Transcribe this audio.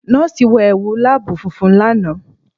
Nọ́ọ̀sì wọ ẹwu laabu funfun lana.